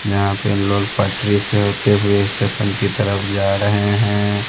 यहां पे लोग पटरी से होते हुवे स्टेशन की तरफ जा रहें हैं।